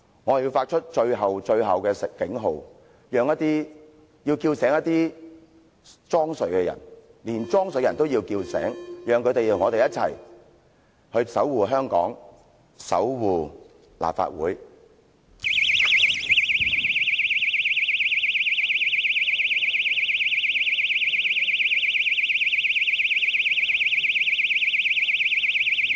我要發出最後、最後的警號，要叫醒那些裝睡的人，連裝睡的人也要叫醒，讓他們與我們一起守護香港和立法會。